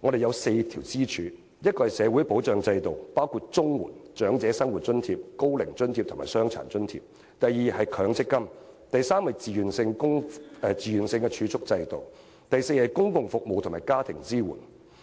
我們有4根支柱：第一是社會保障制度，包括綜合社會保障援助、長者生活津貼、高齡津貼和傷殘津貼；第二是強積金；第三是自願儲蓄制度；第四是公共服務及家庭支援。